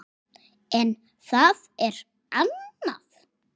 En það er annað.